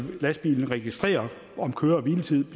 lastbilen registrerer om køre hvile tids